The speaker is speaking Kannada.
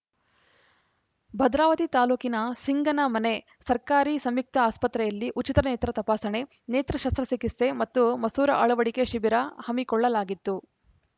ಭದ್ರಾವತಿ ತಾಲೂಕಿನ ಸಿಂಗನಮನೆ ಸರ್ಕಾರಿ ಸಂಯುಕ್ತ ಆಸ್ಪತ್ರೆಯಲ್ಲಿ ಉಚಿತ ನೇತ್ರ ತಪಾಸಣೆ ನೇತ್ರ ಶಸ್ತ್ರಚಿಕಿತ್ಸೆ ಮತ್ತು ಮಸೂರ ಅಳವಡಿಕೆ ಶಿಬಿರ ಹಮ್ಮಿಕೊಳ್ಳಲಾಗಿತ್ತು